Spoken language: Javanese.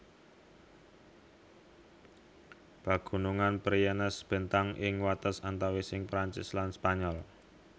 Pegunungan Pyrenees bentang ing wates antawising Perancis lan Spanyol